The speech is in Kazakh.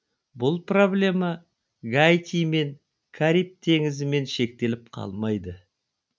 бұл проблема гаитимен кариб теңізімен шектеліп қалмайды